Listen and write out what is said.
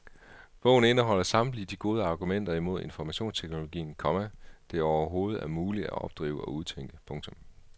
Bogen indeholder samtlige de gode argumenter imod informationsteknologien, komma det overhovedet er muligt at opdrive og udtænke. punktum